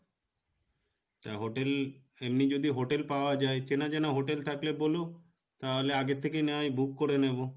তা hotel এমনি যদি hotel পাওয়া যাই, চেনা জানা hotel থাকলে বোলো তাহলে আগের থেকেই না হয় book করে নেবো